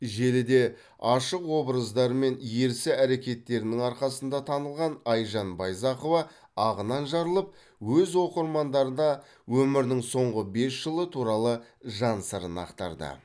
желіде ашық образдары мен ерсі әрекеттерінің арқасында танылған айжан байзақова ағынан жарылып өз оқырмандарына өмірінің соңғы бес жылы туралы жан сырын ақтарды